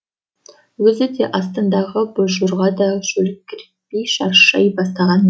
өзі де астындағы бозжорға да шөліркей шаршай бастаған